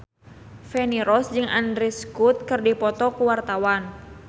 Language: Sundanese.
Feni Rose jeung Andrew Scott keur dipoto ku wartawan